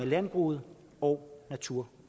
landbruget og natur